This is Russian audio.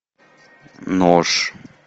нож